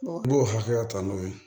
I b'o hakɛya ta n'o ye